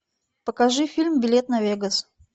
покажи фильм билет на вегас